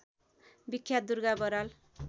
बिख्यात Durga Baral